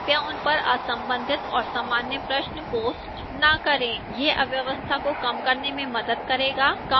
कृपया उन पर असंबंधित और सामान्य प्रश्न post न करें यह अव्यवस्था को कम करने में मदद करेगा